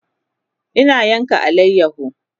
Ina yanka alayaho